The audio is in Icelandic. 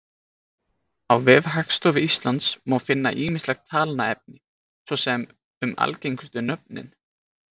Á vef Hagstofu Íslands má finna ýmislegt talnaefni, svo sem um algengustu nöfnin.